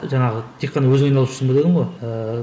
жаңағы тек қана өзің айналысып жүрсің бе дедің ғой ыыы